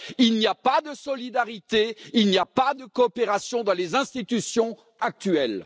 Il n'y a pas de solidarité, il n'y a pas de coopération dans les institutions actuelles.